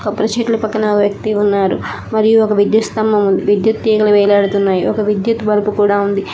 కొబ్బరి చెట్ల పక్కన ఒ వ్యక్తి ఉన్నారు మరియు ఒక విద్యుత్ స్తంభం ఉంది విద్యుత్ తీగల వేలాడుతున్నాయి ఒక విద్యుత్ బలుబు కూడా ఉంది.